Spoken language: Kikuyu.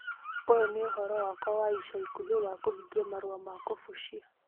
Ũyũ nĩ ũhoro wakwa wa ica ikuhĩ wa kũhingia marũa ma kũbucia